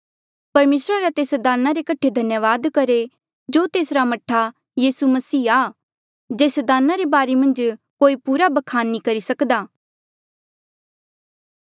परमेसरा रा तेस दाना रे कठे धन्यावाद करहे जो तेसरा मह्ठा यीसू मसीह आ जेस दाना रे बारे मन्झ कोई पूरा ब्खान नी करी सकदा